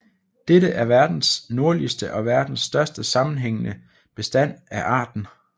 Dette er verdens nordligste og verdens største sammenhængende bestand af arten